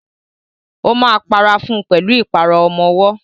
Ó máa para fún pẹ̀lú ìpara ọmọwọ́.